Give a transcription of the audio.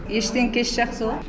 ештен кеш жақсы ғой